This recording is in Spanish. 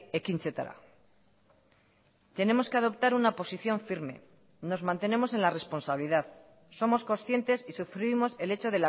ekintzetara tenemos que adoptar una posición firme nos mantenemos en la responsabilidad somos conscientes y sufrimos el hecho